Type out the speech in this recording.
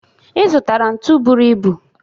Ị zụtara ntu bụrụ ibu